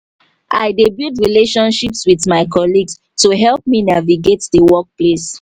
i dey build relationships with my colleagues to help me navigate di workplace.